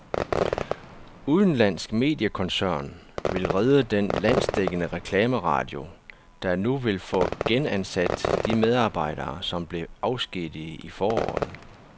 Udenlandsk mediekoncern vil redde den landsdækkende reklameradio, der nu vil få genansat de medarbejdere, som blev afskediget i foråret.